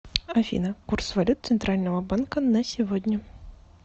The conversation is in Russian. афина курс валют центрального банка на сегодня